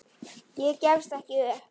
Ég gefst ekki upp.